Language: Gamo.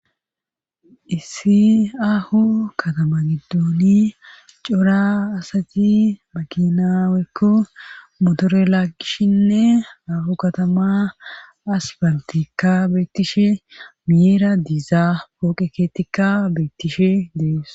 issi ahu katama giddooni cora asati maginawekko motore laagishshinne ahu katama as baltikka beettishe miyeera diizaa pooqe keettikka beettishe dees